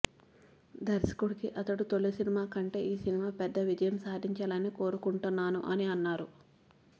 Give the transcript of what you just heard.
దర్శకుడికి అతడు తొలి సినిమా కంటే ఈ సినిమా పెద్ద విజయం సాధించాలని కోరుకుంటున్నాను అని అన్నారు